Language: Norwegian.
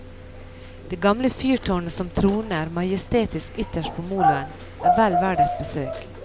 Det gamle fyrtårnet som troner majestetisk ytterst på moloen, er vel verdt et besøk.